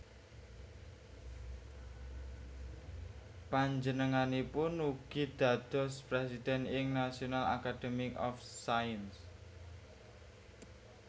Panjenenganipun ugi dados presiden ing National Academy of Sciences